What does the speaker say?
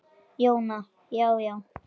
Jóna Já, já.